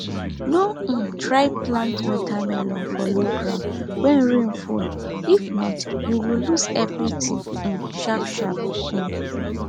no um try plant watermelon for low ground when rain full if not you go lose everything um sharpsharp um